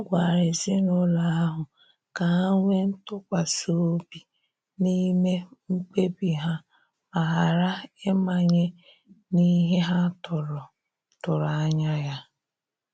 Ha gwara ezinụlọ ahụ ka ha nwee ntụkwasi obi n'ime mkpebi ha ma ghara ịmanye n'ihe ha tụrụ tụrụ anya ya.